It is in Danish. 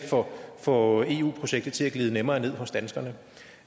få eu projektet til at glide nemmere ned hos danskerne